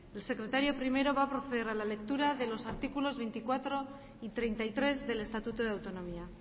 el secretario primero va a proceder a la lectura de los artículos veinticuatro y treinta y tres del estatuto de autonomía